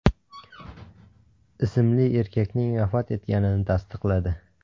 ismli erkakning vafot etganini tasdiqladi .